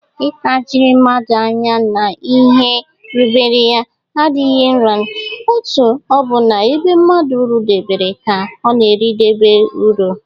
ltajiri mmadu anya n' ihe rubere ya adighi rnrna, otu o bu na ebe mmadu rudebere ka o na-eridebe uru.